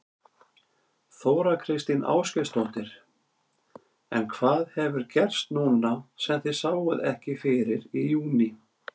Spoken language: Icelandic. Þóra Kristín Ásgeirsdóttir: En hvað hefur gerst núna sem þið sáuð ekki fyrir í júní?